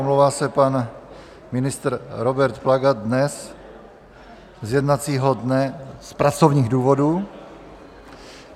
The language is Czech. Omlouvá se pan ministr Robert Plaga dnes z jednacího dne z pracovních důvodů.